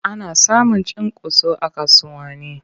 Ana samun cunkoso a kasuwanni.